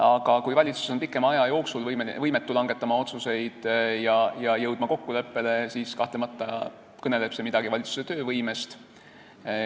Aga kui valitsus on pikema aja jooksul võimetu otsuseid langetama ja kokkuleppele jõudma, siis kahtlemata kõneleb see midagi valitsuse töövõimest.